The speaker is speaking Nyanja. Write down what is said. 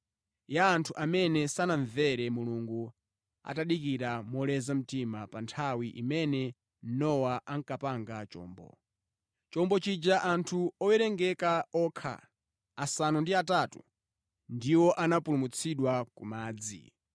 ya anthu amene sanamvere Mulungu atadikira moleza mtima pa nthawi imene Nowa ankapanga chombo. Mʼchombo chija anthu owerengeka okha, asanu ndi atatu, ndiwo anapulumutsidwa ku madzi.